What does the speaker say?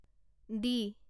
D